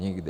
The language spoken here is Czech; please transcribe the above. Nikdy.